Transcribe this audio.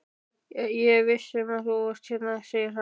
Ég vissi að þú varst hérna, segir hann.